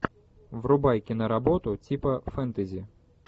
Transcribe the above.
врубай киноработу типа фентези